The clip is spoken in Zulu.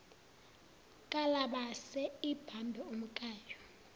kalabase ibambe umkayo